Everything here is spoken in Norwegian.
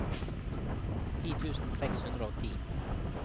ti tusen seks hundre og ti